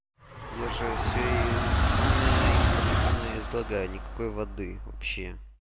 я же всё максимально информативно излагаю никакой воды вообще